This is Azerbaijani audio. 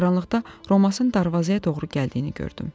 Qaranlıqda Romasın darvazaya doğru gəldiyini gördüm.